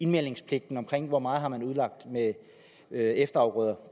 meldepligten om hvor meget man har udlagt med efterafgrøder